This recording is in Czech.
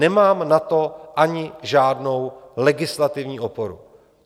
Nemám na to ani žádnou legislativní oporu.